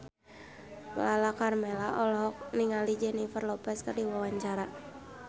Lala Karmela olohok ningali Jennifer Lopez keur diwawancara